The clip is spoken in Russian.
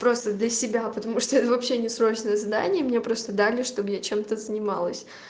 просто для себя потому что это вообще не срочное задание мне просто дали чтоб я чем-то занималась